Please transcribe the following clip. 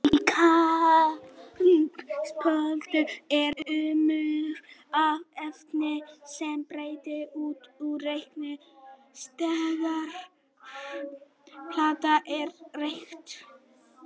Í kannabisplöntunni er urmull af efnum, sem berast út í reykinn þegar plantan er reykt.